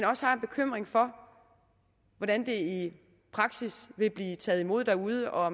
også har en bekymring for hvordan det i praksis vil blive taget imod derude og